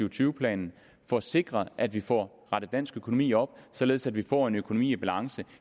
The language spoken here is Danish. og tyve planen for at sikre at vi får rettet dansk økonomi op således at vi får en økonomi i balance